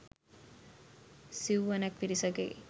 සිවුවනක් පිරිසගේ